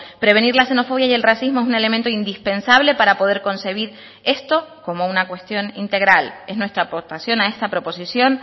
prevenir la xenofobia y el racismo es un elemento indispensable para poder concebir esto como una cuestión integral es nuestra aportación a esta proposición